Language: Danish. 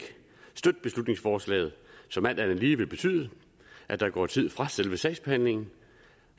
støtte beslutningsforslaget som alt andet lige vil betyde at der går tid fra selve sagsbehandlingen